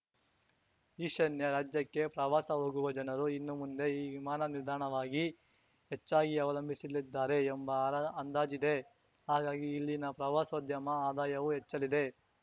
ಈಶಾನ್ಯ ರಾಜ್ಯಕ್ಕೆ ಪ್ರವಾಸ ಹೋಗುವ ಜನರು ಇನ್ನುಮುಂದೆ ಈ ವಿಮಾನ ನಿಲ್ದಾಣವಾಗಿ ಹೆಚ್ಚಾಗಿ ಅವಲಂಬಿಸಲಿದ್ದಾರೆ ಎಂಬ ಅರ್ ಅಂದಾಜಿದೆ ಹಾಗಾಗಿ ಇಲ್ಲಿನ ಪ್ರವಾಸೋದ್ಯಮ ಆದಾಯವೂ ಹೆಚ್ಚಲಿದೆ